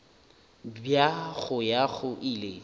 bja go ya go ile